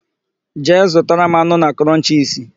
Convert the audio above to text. Jee zụtara m anụ na Krọnchisi!